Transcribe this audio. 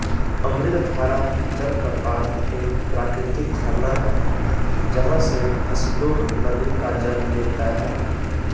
अमृतधारा जल प्रपात एक प्राकृतिक झरना है जहाँ से हसदो नदी का जल गिरता है